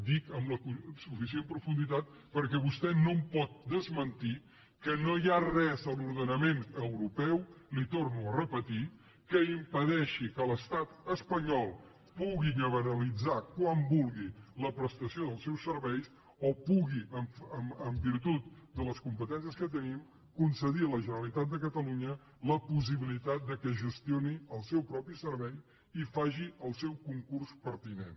dic amb la suficient profunditat perquè vostè no em pot desmentir que no hi ha res a l’ordenament europeu li ho torno a repetir que impedeixi que l’estat espanyol pugui liberalitzar quan vulgui la prestació dels seus serveis o pugui en virtut de les competències que tenim concedir a la generalitat de catalunya la possibilitat que gestioni el seu propi servei i faci el seu concurs pertinent